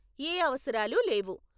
ఏ అవసరాలు లేవు.